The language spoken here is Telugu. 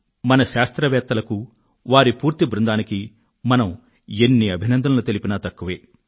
మన శాస్త్రవేత్తలకూ వారి పూర్తి బృందానికీ మనం ఎన్ని అభినందనలు తెలిపినా తక్కువే